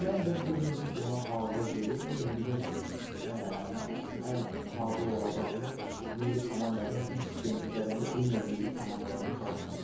Və məncə bu gün biz buna hazır deyilik, bu gün bizim ən hazır olacağımız milli komandanın bir sistem üzərində ümumiyyətlə milli komandalarda çalışmasıdır.